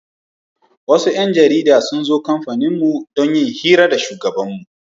Wasu 'yan jarida sun zo kamfaninmu don yin hira da shugabanmu.